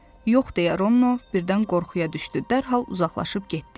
Yox, deyə Ronno birdən qorxuya düşdü, dərhal uzaqlaşıb getdi.